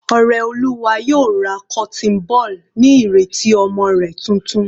Oreoluwa yóò ra cotton ball ní ìrètí ọmọ rẹ̀ titun.